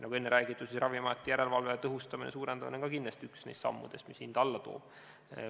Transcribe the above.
Nagu enne räägitud, Ravimiameti järelevalve tõhustamine ja suurendamine on kindlasti ka üks neist sammudest, mis hinda alla toob.